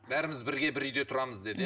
бәріміз бірге бір үйде тұрамыз деді иә